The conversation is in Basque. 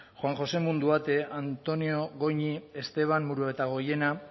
juan josé munduate antonio goñi esteban muruetagoiena